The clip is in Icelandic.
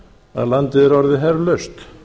að landið er orðið herlaust